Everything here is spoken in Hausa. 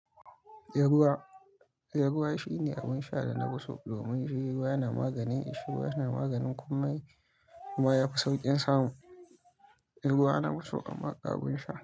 He ruwa, he ruwa shine abin sha da na fi so domin ruwa yana maganin ƙishirwa, yana maganin komai kuma ya fi sauƙin samu. Ruwa na fi so a kamar abin sha.